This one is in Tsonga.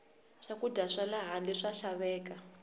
swakudya swale handle swa xaveka